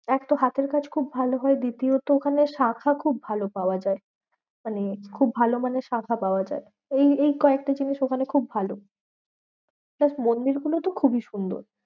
এক তো হাতের কাজ খুব ভালো হয় দ্বিতীয়ত ওখানে শাঁখা খুব ভালো পাওয়া যায়। মানে খুব ভালো মানের শাঁখা পাওয়া যায়। এই এই কয়েকটা জিনিস ওখানে খুব ভালো। just মন্দির গুলো তো খুবই সুন্দর।